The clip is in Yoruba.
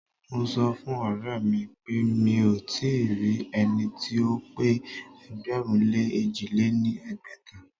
Mo sọ fún ọ̀rẹ́mi pé mí ò tíì rí ẹni tí ó pé ẹgbẹ̀rún lé èjì lé ní ẹgbẹ́ta.